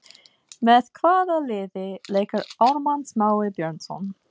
Með hvaða liði leikur Ármann Smái Björnsson?